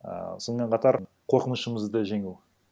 ііі сонымен қатар қорқынышымызды жеңу